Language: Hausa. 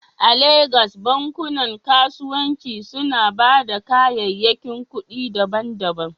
A Legas, bankunan kasuwanci suna ba da kayayyakin kuɗi daban-daban?